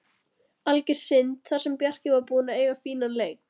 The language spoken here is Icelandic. Alger synd, þar sem Bjarki var búinn að eiga fínan leik.